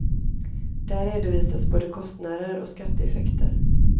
Där redovisas både kostnader och skatteeffekter.